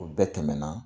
O bɛɛ tɛmɛna